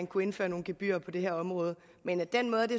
kunne indføre nogle gebyrer på det her område men den måde det